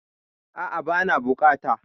Aa' bana bukata